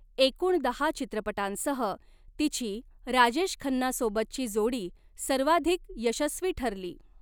एकूण दहा चित्रपटांसह तिची राजेश खन्नासोबतची जोडी सर्वाधिक यशस्वी ठरली.